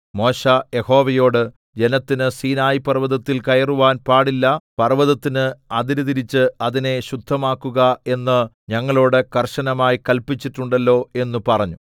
മോശെ യഹോവയോട് ജനത്തിന് സീനായി പർവ്വതത്തിൽ കയറുവാൻ പാടില്ല പർവ്വതത്തിന് അതിര് തിരിച്ച് അതിനെ ശുദ്ധമാക്കുക എന്ന് ഞങ്ങളോട് കർശനമായി കല്പിച്ചിട്ടുണ്ടല്ലോ എന്നു പറഞ്ഞു